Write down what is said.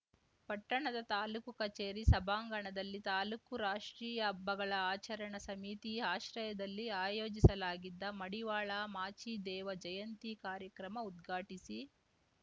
ಪಟ್ಟಣದ ತಾಲೂಕು ಕಚೇರಿ ಸಭಾಂಗಣದಲ್ಲಿ ತಾಲೂಕು ರಾಷ್ಟ್ರೀಯ ಹಬ್ಬಗಳ ಆಚರಣಾ ಸಮೀತಿ ಆಶ್ರಯದಲ್ಲಿ ಆಯೋಜಿಸಲಾಗಿದ್ದ ಮಡಿವಾಳ ಮಾಚಿದೇವ ಜಯಂತಿ ಕಾರ್ಯಕ್ರಮ ಉದ್ಘಾಟಿಸಿ